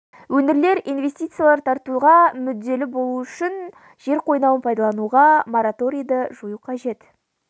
өңірлер инвестициялар тартуға мүдделі болуы үшін жер қойнауын пайдалануға мораторийді жою қажет